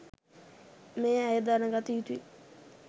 මේ අය දැනගත යුතුයි.